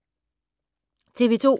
TV 2